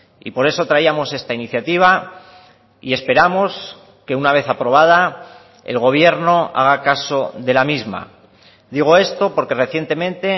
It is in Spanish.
y por eso traíamos esta iniciativa y esperamos que una vez aprobada el gobierno haga caso de la misma digo esto porque recientemente